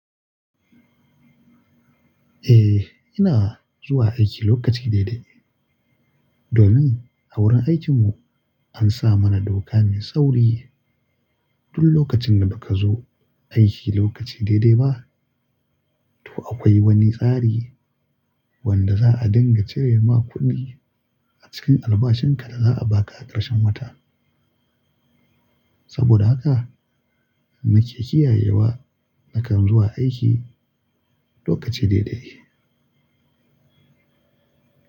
Eh, ina zuwa aiki lokaci daidai domin a wurin aikinmu an sa mana doka mai sauri. Duk lokacin da baka zo aiki lokaci daidai ba, to akwai wani tsari wanda za'a dinga cire ma kuɗi a cikin albashinka da za'a baka a ƙarshen wata. Saboda haka nake kiyayewa nakan zuwa aiki lokaci daidai.